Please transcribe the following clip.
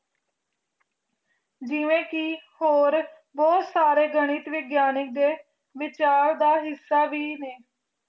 ਜਿਵੇ ਕੀ ਹੋਰ ਬੋਹਤ ਸਾਰੀ ਗਨਿਕ ਵੀ ਗਿਯ੍ਨਿਕ ਦੇ ਵਹਿਚਲ ਦਾ ਹਿਸਾ ਵੀ ਨਾਈ